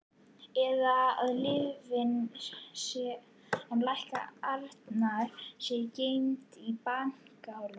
Eða að lyfin sem lækna Arnar séu geymd í bankahólfinu.